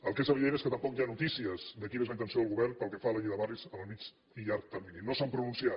el que és evident és que tampoc hi ha notícies de quina és la intenció del govern pel que fa a la llei de barris en el mitjà i llarg terminis no s’han pronunciat